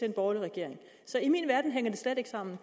en borgerlig regering så i min verden hænger det slet ikke sammen